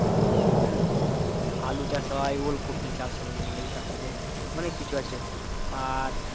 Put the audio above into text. হম আলু চাষ হয় ওলকপি চাষ হয় তারপরে অনেক কিছু আছে পাট